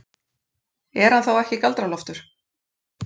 Er hann þá ekki Galdra-Loftur?